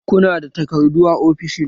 Ku nada takardu a ofishin?